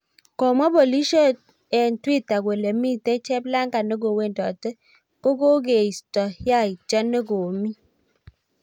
komwak polisindet eng twitter kole komite cheplangaa neko wendoli ko kokeito yaityo neko mii